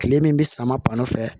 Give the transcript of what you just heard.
Kile min bɛ sama pan fɛ